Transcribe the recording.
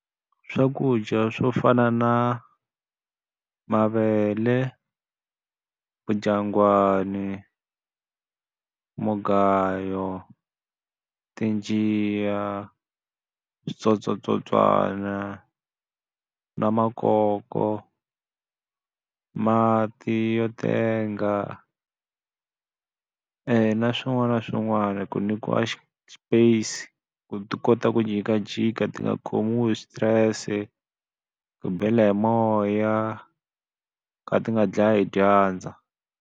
Swakudya swo fana na mavele vudyangwani, mugayo, tinjiya, switsotswatsotswana, na makoko, mati yo tenga, na swin'wana na swin'wana. Ku nyikiwa spice, ku ti kota ku jikajika ti nga khomiwi switirese, ku bela hi moya, ku ka ti nga dlayi hi dyandza.